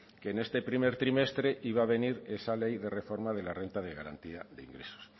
que en este primer trimestre iba a venir esa ley de reforma de la renta de garantía de ingresos